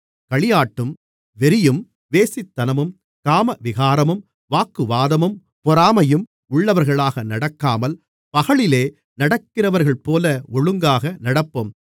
களியாட்டும் வெறியும் வேசித்தனமும் காமவிகாரமும் வாக்குவாதமும் பொறாமையும் உள்ளவர்களாக நடக்காமல் பகலிலே நடக்கிறவர்கள்போல ஒழுங்காக நடப்போம்